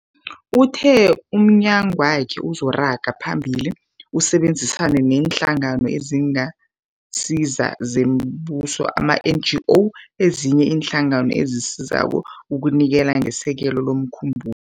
Uthe umnyagwakhe uzoragela phambili usebenzisane neeNhlangano eziNgasizo zoMbuso, ama-NGO, nezinye iinhlangano ezisizako ukunikela ngesekelo lomkhumbu